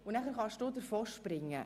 Und nachher kannst du davonspringen.